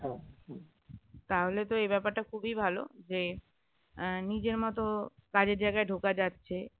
তাহলে তো এই ব্যাপারটা খুবই ভালো যে নিজের মতো কাজের জায়গায় ঢোকা যাচ্ছে